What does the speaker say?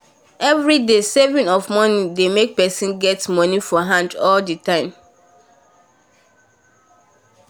everyday saving of money dey make person get money for hand all the time